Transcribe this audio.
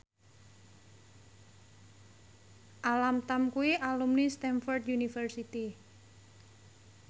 Alam Tam kuwi alumni Stamford University